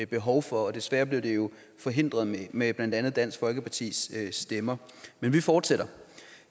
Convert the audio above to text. behov for og desværre blev det jo forhindret med blandt andet dansk folkepartis stemmer men vi fortsætter